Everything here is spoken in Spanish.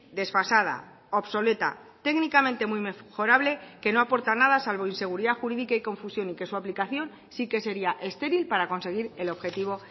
desfasada obsoleta técnicamente muy mejorable que no aporta nada salvo inseguridad jurídica y confusión y que su aplicación sí que sería estéril para conseguir el objetivo